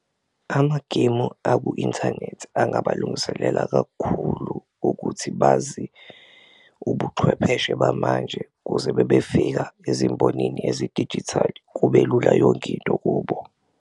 Amagemu aku-inthanethi angabalungiselela kakhulu ukuthi bazi ubuchwepheshe bamanje kuze bebefika ezimbonini ezidijithali kube lula yonke into kubo.